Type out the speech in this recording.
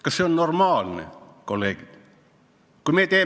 Kas see on normaalne, kolleegid?